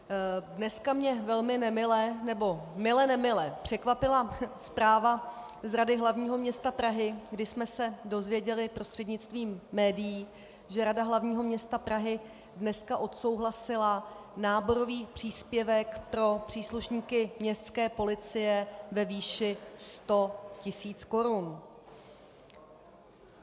Dneska mě velmi nemile, nebo mile nemile překvapila zpráva z Rady hlavního města Prahy, kdy jsme se dozvěděli prostřednictvím médií, že Rada hlavního města Prahy dneska odsouhlasila náborový příspěvek pro příslušníky městské policie ve výši 100 tisíc korun.